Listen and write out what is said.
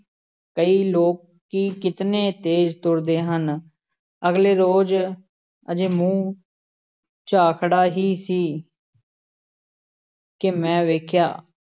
ਕਈ ਲੋਕੀ ਕਿਤਨੇ ਤੇਜ਼ ਤੁਰਦੇ ਹਨ, ਅਗਲੇ ਰੋਜ਼ ਅਜੇ ਮੂੰਹ ਝਾਖੜਾ ਹੀ ਸੀ ਕਿ ਮੈਂ ਵੇਖਿਆ,